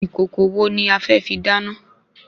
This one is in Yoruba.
Ìkòkò wo ni afẹ́ fi dáná?